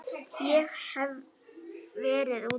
Ég hef verið úti.